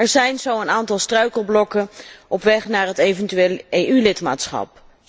Er zijn zo een aantal struikelblokken op weg naar het eventueel EU lidmaatschap.